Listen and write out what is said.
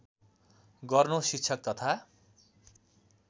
गर्नु शिक्षक तथा